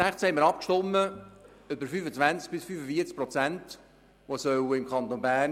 2016 haben wir darüber abgestimmt, dass im Kanton Bern